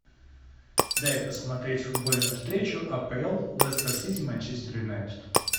дай посмотреть футбольную встречу апл лестер сити манчестер юнайтед